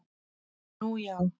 Nú, já